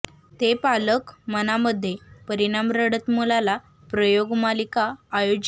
ते पालक मनामध्ये परिणाम रडत मुलाला प्रयोग मालिका आयोजित